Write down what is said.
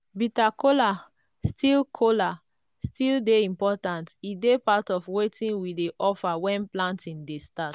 bitter kola still kola still dey important e dey part of wetin we dey offer when planting dey start.